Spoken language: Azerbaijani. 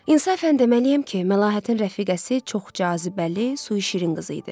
İnsafən deməliyəm ki, Məlahətin rəfiqəsi çox cazibəli, suşirin qızı idi.